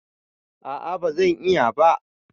A'a ba zan iya ba.